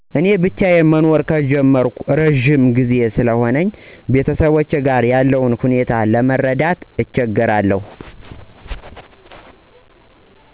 እኔ ብቻዩን መኖር ከጀመርኩ እረዥም ጊዜ ስለሆነኝ ቤተሰቦቼ ጋር ያለውን ሁኔታ ለመረዳት እቸገራለሁ።